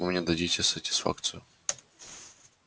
вы мне дадите сатисфакцию